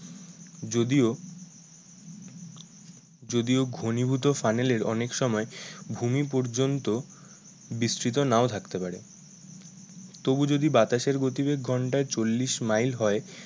যদিও যদিও ঘনীভূত ফানেলের অনেক সময় ভূমি পর্যন্ত বিস্থিত নাও থাকতে পারে। তবু যদি বাতাসের গতিবেগ ঘন্টায় চল্লিশ মাইল হয়